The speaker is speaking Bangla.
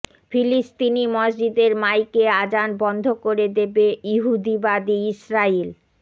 ফিলিস্তিনি মসজিদের মাইকে আজান বন্ধ করে দেবে ইহুদিবাদী ইসরাইল